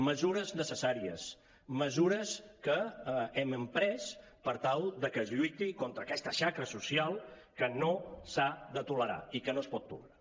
mesures necessàries mesures que hem emprès per tal de que es lluiti contra aquesta xacra social que no s’ha de tolerar i que no es pot tolerar